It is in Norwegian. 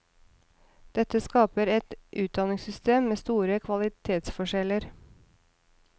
Dette skaper et utdanningssystem med store kvalitetsforskjeller.